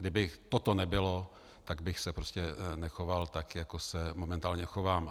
Kdyby toto nebylo, tak bych se prostě nechoval tak, jako se momentálně chovám.